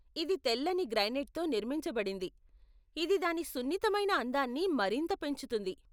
ఇది తెల్లని గ్రానైట్తో నిర్మించబడింది, ఇది దాని సున్నితమైన అందాన్ని మరింత పెంచుతుంది.